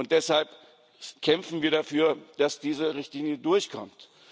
Deshalb kämpfen wir dafür, dass diese Richtlinie durchkommt.